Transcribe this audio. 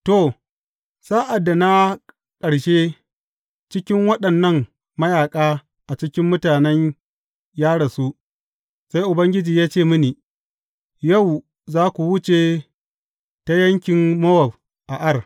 To, sa’ad da na ƙarshe cikin waɗannan mayaƙa a cikin mutanen ya rasu, sai Ubangiji ya ce mini, Yau za ku wuce ta yankin Mowab a Ar.